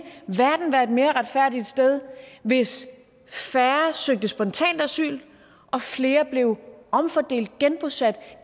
verden være et mere retfærdigt sted hvis færre søgte spontant asyl og flere blev omfordelt genbosat